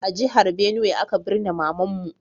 A jihar Benue aka birne mama'n mu.